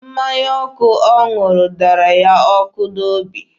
Mmanya ọkụ ọ ṅụrụ dara ya ọkụ n'obi.